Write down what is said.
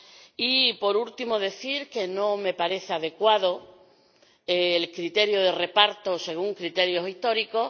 Y, por último, decir que no me parece adecuado el criterio de reparto según criterios históricos.